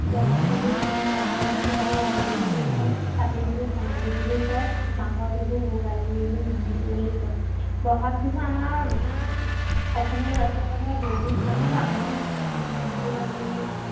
বহাগ বিহুক আমি ৰঙালী বিহু কওঁ, কাতি বিহুক কঙালী বিহু কওঁ, মাঘৰ বিহুক ভোগালী বিহু বুলি কও। বহাগ বিহু আমাৰ অসমীয়া জাতিৰ বহুত মানে ডাঙৰ ঊৎসৱ বিহুত আমি